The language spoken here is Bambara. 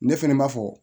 Ne fɛnɛ ma fɔ